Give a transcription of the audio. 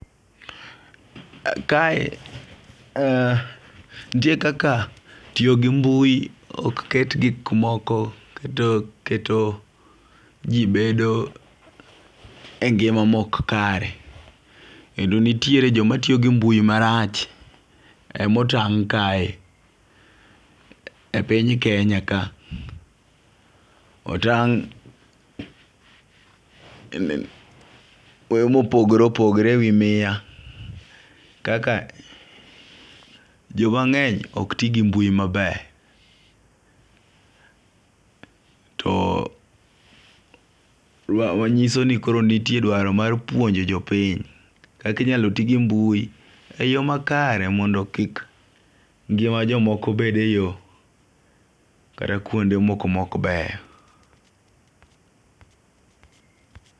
Kae ntie kaka tiyo gi mbui ok ket gik moko keto keto jii bedo e ngima mok kare . Kendo nitiere joma tiyo gi mbui marach emotang' kae e piny kenya ka. Otang' e yoo mopogre opogore e wi miya kaka jo mangeny ok tii gi mbui maber. To wa nyiso ni ntie dwaro mar puonjo jopiny kaka inyalo tii gi mbui e yoo makare mondo kik ngima jomoko bed e yoo kata kuonde moko mok beyo